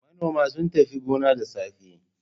Manoman sun tafi gona da safe.